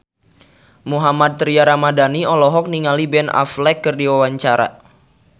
Mohammad Tria Ramadhani olohok ningali Ben Affleck keur diwawancara